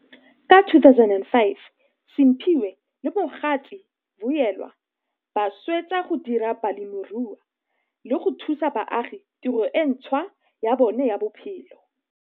Ka 2005 Simphiwe le mogatse, Vuyelwa, ba swetsa go dira bolemirui le go thusa baagi tiro e ntshwa ya bona ya bophelo.